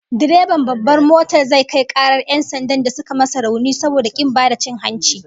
Direban babbar motar zai kai karar 'yan sandan da suka masa rauni saboda kin ba da cin hanci